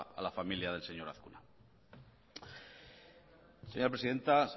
a la familia del señor azkuna señora presidenta